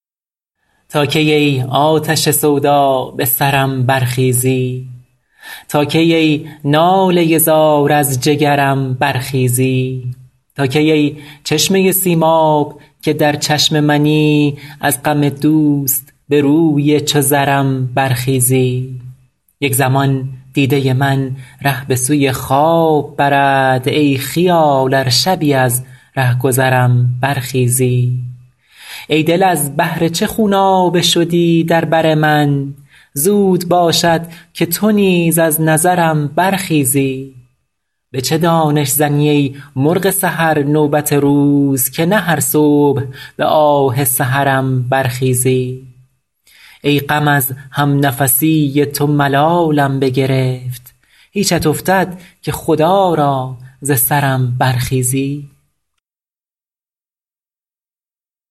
تا کی ای آتش سودا به سرم برخیزی تا کی ای ناله زار از جگرم برخیزی تا کی ای چشمه سیماب که در چشم منی از غم دوست به روی چو زرم برخیزی یک زمان دیده من ره به سوی خواب برد ای خیال ار شبی از رهگذرم برخیزی ای دل از بهر چه خونابه شدی در بر من زود باشد که تو نیز از نظرم برخیزی به چه دانش زنی ای مرغ سحر نوبت روز که نه هر صبح به آه سحرم برخیزی ای غم از همنفسی تو ملالم بگرفت هیچت افتد که خدا را ز سرم برخیزی